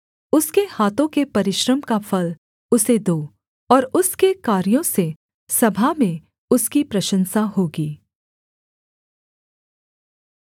उसके हाथों के परिश्रम का फल उसे दो और उसके कार्यों से सभा में उसकी प्रशंसा होगी